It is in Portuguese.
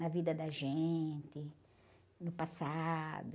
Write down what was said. na vida da gente, no passado.